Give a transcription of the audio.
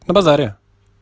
на базаре